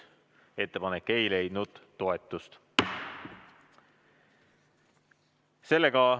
Ettepanek ei leidnud toetust.